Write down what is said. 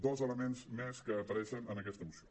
dos elements més que apareixen en aquesta moció